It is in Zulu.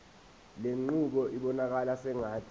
lenqubo ibonakala sengathi